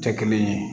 Tɛ kelen ye